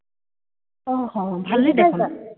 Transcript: অ, অ। ভালেই দেখোন।